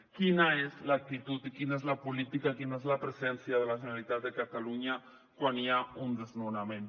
quina és l’actitud i quina és la política quina és la presència de la generalitat de catalunya quan hi ha un desnonament